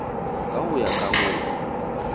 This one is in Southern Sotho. ka ho ya ka moo